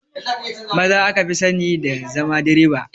Maza aka fi sani da zama direba